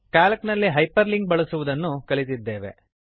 Calc ನಲ್ಲಿ hyperlink ಅನ್ನು ಬಳಸುವುದನ್ನು ಕಲಿತಿದ್ದೇವೆ